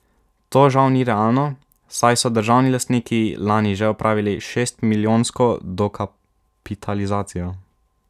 To žal ni realno, saj so državni lastniki lani že opravili šestmilijonsko dokapitalizacijo.